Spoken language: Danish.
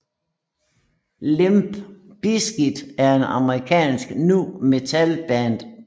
Limp Bizkit er et amerikansk nu metal band